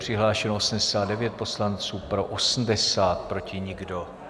Přihlášeno 89 poslanců, pro 80, proti nikdo.